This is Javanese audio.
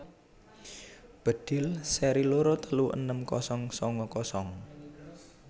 Bedhil seri loro telu enem kosong sanga kosong